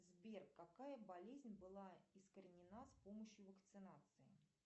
сбер какая болезнь была искоренена с помощью вакцинации